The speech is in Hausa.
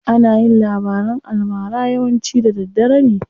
Ana yin labaran almara yawanci da daddare ne.